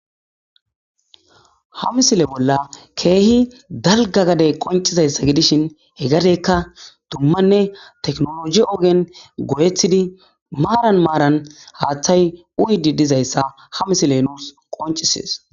ha misile bolla keehi dalga gadey qoncizayssa gidishin hegadeykka dummanne teknolosi ogen goyethidi maaran maaran haaththay uyidi dizayssa ha misile nuus qoncisees